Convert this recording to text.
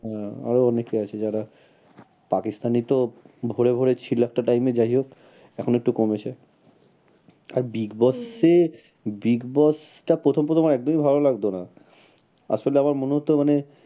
আহ আরো অনেকে আছে যারা পাকিস্তানি তো ভরে ভরে ছিল একটা time এ যাই হোক এখন একটু কমেছে আর big boss এ, big boss টা প্রথম প্রথম আমার একদমই ভালো লাগতো না। আসলে আমার মনে হত মানে,